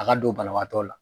A ka don banabaatɔ la.